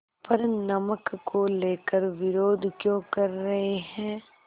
पर नमक को लेकर विरोध क्यों कर रहे हैं